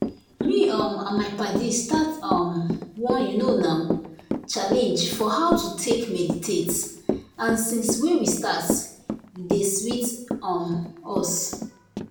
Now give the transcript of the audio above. me um and my paddies start um one you know na challenge for how to take meditate and since wey we start e dey sweet um us